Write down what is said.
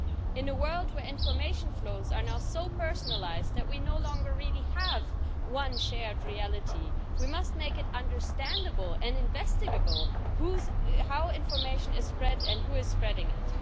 In a world where information flows are now so personalised that we no longer really have one shared reality, we must make it understandable and investigate how information is spread and who is spreading it.